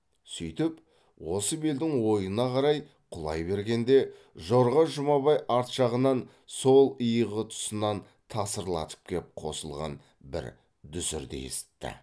сөйтіп осы белдің ойына қарай құлай бергенде жорға жұмабай арт жағынан сол иығы тұсынан тасырлатып кеп қосылған бір дүсірді есітті